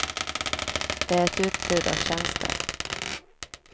Det är ett utbud av tjänster.